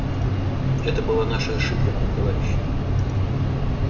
это была наша ошибка товарищи